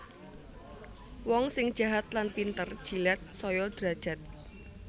Wong sing jahat lan pinter jilat saya derajat